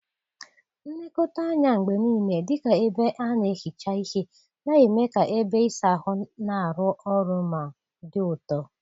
Nlekọta anya mgbe niile, dị ka ebe a na-ehicha ihe, na-eme ka ebe ịsa ahụ na-arụ ọrụ ma dị ụtọ.